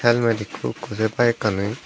helmet ekko ekko sey bikanit.